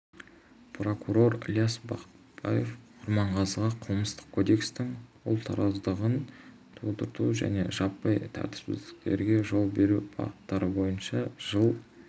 прокурор ілияс бақтыбаев құрманғазыға қылмыстық кодекстің ұлтараздығын тудыру және жаппай тәртіпсіздіктерге жол беру баптары бойынша жыл